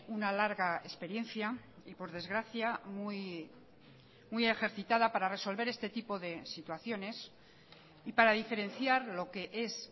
una larga experiencia y por desgracia muy ejercitada para resolver este tipo de situaciones y para diferenciar lo que es